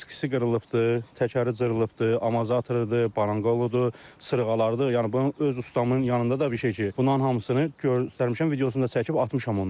Diski qırılıbdır, təkəri cırılıbdır, amortizatorudur, baranqoludur, sırıqalarıdır, yəni bunun öz ustamın yanında da bir şey ki, bunların hamısını göstərmişəm, videosunu da çəkib atmışam onlara.